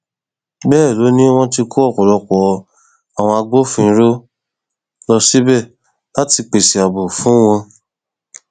bẹẹ ló ní wọn ti kó ọpọlọpọ àwọn agbófinró lọ síbẹ láti lè pèsè ààbò fún wọn